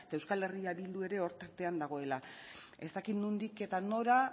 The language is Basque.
eta euskal herria bildu ere hor tartean dagoela ez dakit nondik eta nora